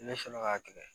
Ne fɛnɛ ka kɛlɛ